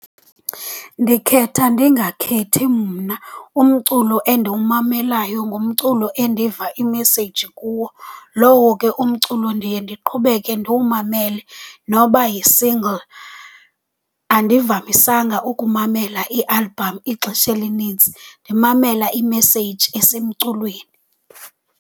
Ndikhetha ndingakhethi mna. Umculo endiwumamelayo ngumculo endiva imeseyji kuwo. Lowo ke umculo ndiye ndiqhubeke ndiwumamele noba yi-single. Andivamisanga ukumamela ialbhamu ixesha elinintsi, ndimamela imeseyji esemculweni.